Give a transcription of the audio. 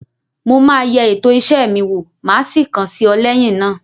Mo máa yẹ ètò iṣẹ́ mi wó, máa sì kàn sí ọ lẹ́yìn náà.